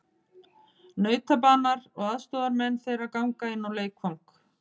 Nautabanar og aðstoðarmenn þeirra ganga inn á leikvang.